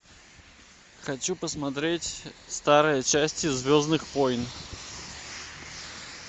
хочу посмотреть старые части звездных войн